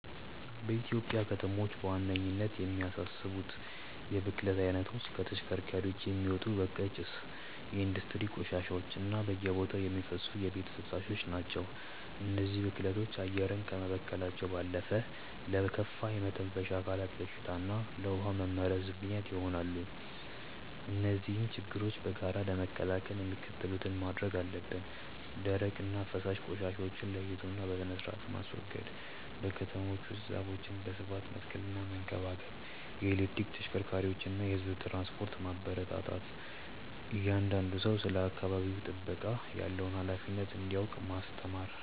በኢትዮጵያ ከተሞች በዋነኝነት የሚያሳስቡት የብክለት አይነቶች ከተሽከርካሪዎች የሚወጣ በካይ ጭስ፣ የኢንዱስትሪ ቆሻሻዎች እና በየቦታው የሚፈሱ የቤት ፍሳሾች ናቸው። እነዚህ ብክለቶች አየርን ከመበከላቸው ባለፈ ለከፋ የመተንፈሻ አካላት በሽታ እና ለውሃ መመረዝ ምክንያት ይሆናሉ። እነዚህን ችግሮች በጋራ ለመከላከል የሚከተሉትን ማድረግ አለብን፦ ደረቅና ፈሳሽ ቆሻሻዎችን ለይቶና በስርአት ማስወገድ። በከተሞች ውስጥ ዛፎችን በስፋት መትከልና መንከባከብ። የኤሌክትሪክ ተሽከርካሪዎችንና የህዝብ ትራንስፖርትን ማበረታታት። እያንዳንዱ ሰው ስለ አካባቢ ጥበቃ ያለውን ሃላፊነት እንዲያውቅ ማስተማር።